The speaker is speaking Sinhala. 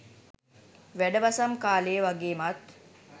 වැඩවසම් කාලෙ වගේමත්